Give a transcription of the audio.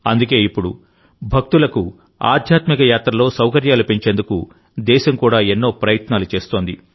అందుకే ఇప్పుడు భక్తులకు ఆధ్యాత్మిక యాత్రలో సౌకర్యాలు పెంచేందుకు దేశం కూడా ఎన్నో ప్రయత్నాలు చేస్తోంది